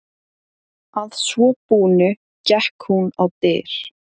Að svo búnu gekk hún á dyr.